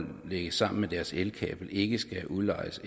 lægge sammen med deres elkabel ikke skal udlejes